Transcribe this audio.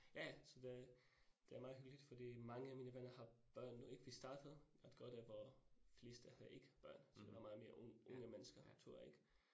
Ja ja så det det er meget hyggeligt fordi mange af mine venner har børn nu ik, vi startede at gøre det, hvor fleste havde ikke børn, så det meget mere unge unge mennesker tur ik